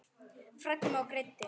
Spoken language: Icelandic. Fræddi mig og leiddi.